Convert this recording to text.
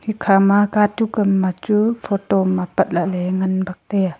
khama katuk am ma chu photo am apat lah ley ngan bak taiya.